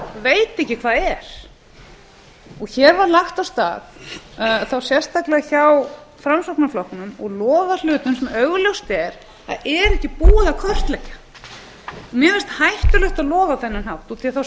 veit ekki hvað er hér var lagt af stað þá sérstaklega hjá framsóknarflokknum og lofað hlutum sem augljóst er að ekki er búið að kortleggja mér finnst hættulegt að lofa á þennan hátt af því að þá